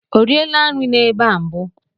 O riela nri n'ebe a mbụ?